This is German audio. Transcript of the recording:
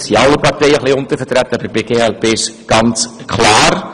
Es sind alle Parteien ein wenig untervertreten, aber bei der glp ist es ganz klar.